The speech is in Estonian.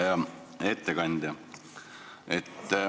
Hea ettekandja!